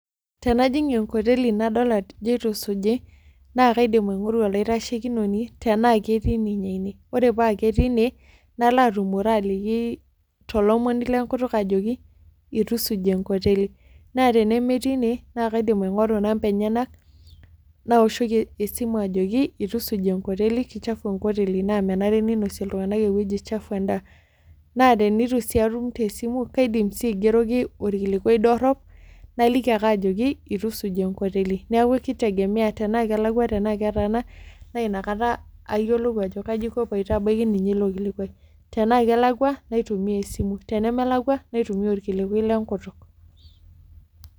Tenajing enkoteli nadol ajo itusuji na kaiidim ainoto olaitashekinoni tanaketii tii ine, ore pa ketii inebnalobatumore tolomoni lenkutikuk ajoki itusuji enkoteli, na tenemetii ine nakaidim aingoru namba enyenak naoshoki esimu ajoki itusuji enkoteli na ke chafu enkoteli na menare ninosie ltunganak enkoteli chafu endaa na tenitu atum naigeroki orkilikuai dorop naliki ake ajoki ituisuji enkoteli neaku kitegemea tanakelakwa ,tanaketaana nayiolou ajo kaja aiko piitabaki ninye ilo kilikuai tena kelakwa naitumia esimu tenemelakwa naitumia orkilikuai lenkutik.